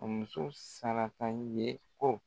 A muso Saraka ɲe ko